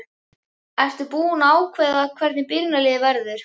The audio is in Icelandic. Ertu búinn að ákveða hvernig byrjunarliðið verður?